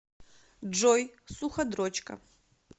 джой суходрочка